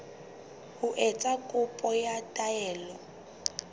ho etsa kopo ya taelo